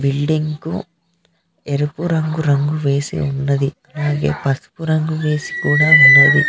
Building కు ఎరుపు రంగు రంగు వేసి ఉన్నది అలాగే పసుపు రంగు కూడా వేసి కూడా ఉన్నది.